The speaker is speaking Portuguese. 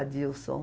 Adilson.